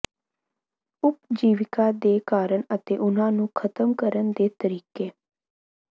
ਉਪਜੀਵਕਾ ਦੇ ਕਾਰਨ ਅਤੇ ਉਹਨਾਂ ਨੂੰ ਖ਼ਤਮ ਕਰਨ ਦੇ ਤਰੀਕੇ